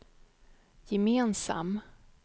gemensam